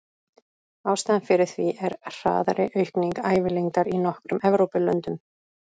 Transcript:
Ástæðan fyrir því er hraðari aukning ævilengdar í nokkrum Evrópulöndum.